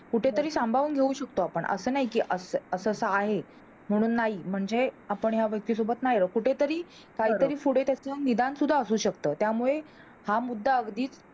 कुठेतरी सांभाळून घेऊ शकतो आपण, असं काही की असं असं आहे, म्हणून नाही म्हणजे या व्यक्ती सोबत नी राहू कुठेतरी काही तरी पुढे त्याच निदान असू शकत, त्यामुळे हा मुद्दा अगदीच